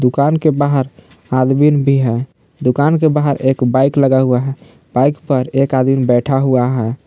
दुकान के बाहर आदमी भी है दुकान के बाहर एक बाइक लगा हुआ है बाइक पर एक आदमी बैठा हुआ है।